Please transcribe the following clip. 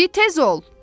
Di tez ol!